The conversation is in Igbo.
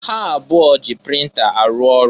Ha abụọ ji printa arụ ọrụ.